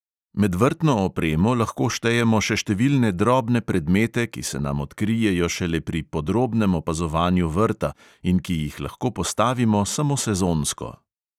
Med vrtno opremo lahko štejemo še številne drobne predmete, ki se nam odkrijejo šele pri podrobnem opazovanju vrta in ki jih lahko postavimo samo sezonsko.